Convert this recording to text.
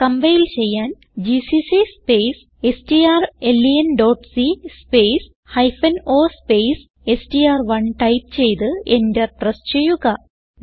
compile ചെയ്യാൻ GCC space strlenസി space o space എസ്ടിആർ1 ടൈപ്പ് ചെയ്ത് എന്റർ പ്രസ് ചെയ്യുക